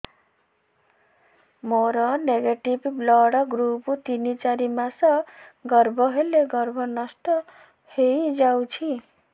ମୋର negative blood group ତିନ ଚାରି ମାସ ଗର୍ଭ ହେଲେ ଗର୍ଭ ନଷ୍ଟ ହେଇଯାଉଛି